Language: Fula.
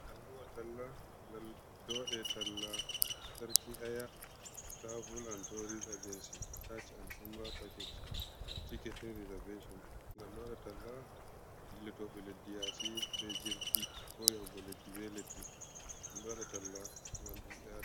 Alluhah talla, gal don wada tallah sarki aya travul and tousr agency, hajj and umra packeje ticketing reservation, gal do wada talla dillotoɓe leddi yasi be jirgi, ko yago leddi be leddi.